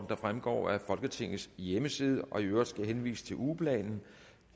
der fremgår af folketingets hjemmeside i øvrigt skal jeg henvise til ugeplanen